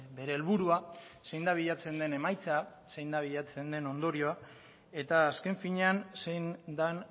bere helburua zein da bilatzen den emaitza zein da bilatzen de ondorioa eta azken finean zein den